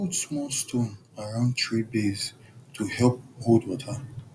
put small stone around tree base to help hold water